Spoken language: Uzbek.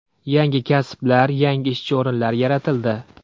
Yangi kasblar, yangi ishchi o‘rinlar yaratildi.